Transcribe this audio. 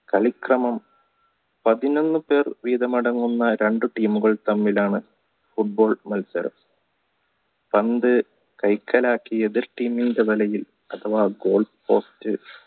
കളിക്കളം പതിനൊന്ന്പേർ വീതം അടങ്ങുന്ന രണ്ടു team മുകൾ തമ്മിലാണ് football കളിച്ചത് പന്ത് കൈകാലാക്കി എതിർ team ടെ വലയിൽ അഥവാ goal